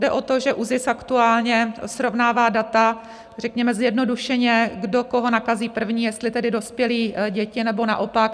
Jde o to, že ÚZIS aktuálně srovnává data řekněme zjednodušeně - kdo koho nakazí první, jestli tedy dospělí děti, nebo naopak.